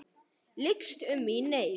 Lykst um mig í neyð.